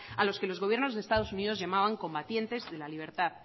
a los que los gobiernos de estados unidos llamaban combatientes de la libertad